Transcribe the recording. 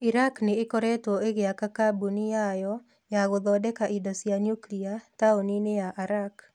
Iraq nĩ ĩkoretwo ĩgĩaka kambuni ya yo ya gũthondeka indo cia niukilia taũni-inĩ ya Arak.